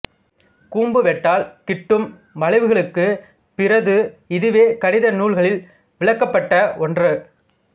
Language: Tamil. கூம்பு வெட்டால் கிட்டும் வளைவுகளுக்குப் பிறது இதுவே கணித நூல்களில் விளக்கப்பட்ட ஒன்று